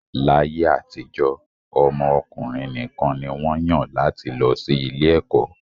Láyé àtijọ́, ọmọ ọkùnrin nìkan ni wọ́n yàn láti lọ sí ilé ẹ̀kọ́